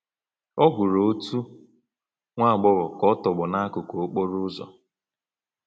Ọ hụrụ otu nwa agbọghọ ka ọ tọgbọ n’akụkụ okporo ụzọ.